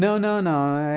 Não, não, não.